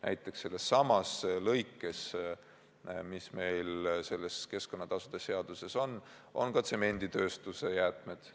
Näiteks, sellessamas keskkonnatasude seaduse lõikes on ka tsemenditööstuse jäätmed.